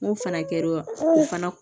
N ko fana kɛra o fana